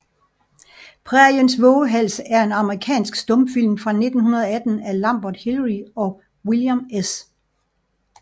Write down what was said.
Præriens Vovehals er en amerikansk stumfilm fra 1918 af Lambert Hillyer og William S